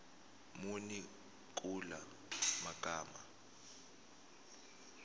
muni kula magama